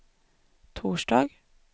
torsdag